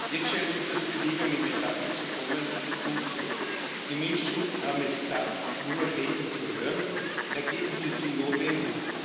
Jetzt scheint etwas Bewegung in die Sache zu kommen. Gut so! Die Menschen haben es satt, nur Reden zu hören Ergebnisse sind notwendig.